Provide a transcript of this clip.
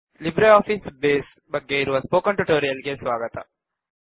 Libre Office Base ಬಗ್ಗೆ ಇರುವ spoken tutorial ಗೆ ಸ್ವಾಗತ